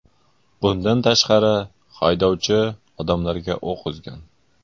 Bundan tashqari, haydovchi odamlarga o‘q uzgan.